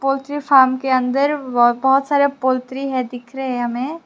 poultry farm के अंदर बहोत सारा पोल्ट्री है दिख रहा है हमें--